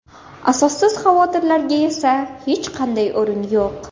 Asossiz xavotirlarga esa hech qanday o‘rin yo‘q.